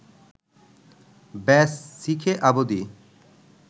ব্যস, শিখে অবদি